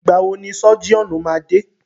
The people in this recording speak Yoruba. Ìgbà wọ ni sọ́jíọ̀nù máa dé?